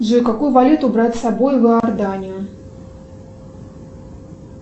джой какую валюту брать с собой в иорданию